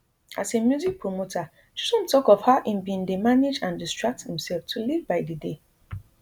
as a music promoter chisom tok of how im bin dey manage and distract imsef to live by di day